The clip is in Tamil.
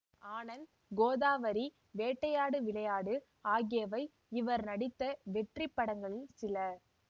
ஆனந்த் கோதாவரி வேட்டையாடு விளையாடு ஆகியவை இவர் நடித்த வெற்றிப்படங்களில் சில